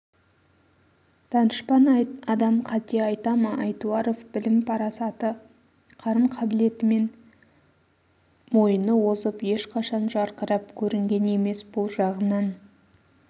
данышпан адам қате айта ма айтуаров білім парасаты қарым қабілетімен мойыны озып ешқашан жарқырап көрінген емес бұл жағынан